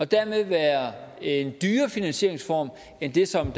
dermed være en dyrere finansieringsform end det som